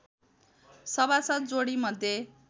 सभासद् जोडी मध्ये